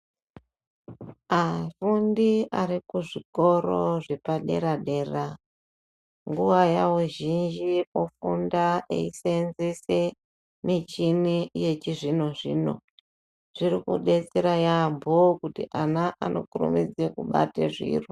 Afundi ari kuzvikoro zvepadera- dera nguva yavo zhinji kufunda eisenzese michini yechizvino- zvino, zvirikudetsera yambo kuti ana anokurumidza kubata zviro.